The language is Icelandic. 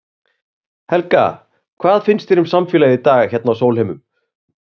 Helga: Hvað finnst þér um samfélagið í dag hérna á Sólheimum?